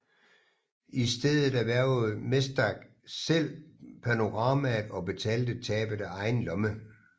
I stedet erhvervede Mesdag selv panoramaet og betalte tabet af egen lomme